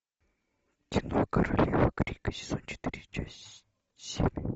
кино королева крика сезон четыре часть семь